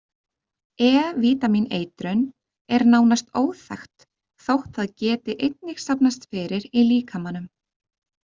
E-vítamíneitrun er nánast óþekkt þótt það geti einnig safnast fyrir í líkamanum.